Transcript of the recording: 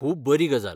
खूब बरी गजाल!